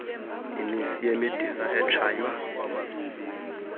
imisi yemidiza etshaywa